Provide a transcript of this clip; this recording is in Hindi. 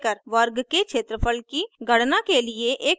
वर्ग के क्षेत्रफल की गणना के लिए एक प्रोग्राम लिखें